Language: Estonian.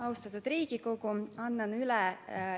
Austatud Riigikogu!